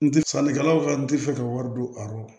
N tɛ sannikɛlaw ka n tɛ fɛ ka wari don a rɔ